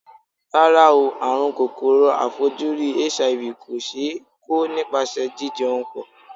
Rárá o, àrùn kòkòrò aàìfojúrí HIV kò ṣe é kó nípasẹ̀ jí jẹun pọ̀.